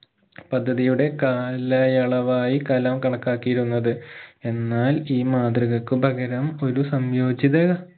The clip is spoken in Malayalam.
പദ്ധതിയുടെ കാലയളവായി കലാം കണക്കാക്കിയിരുന്നത് എന്നാൽ ഈ മാതൃകക്ക് പകരം ഒരു സംയോചിത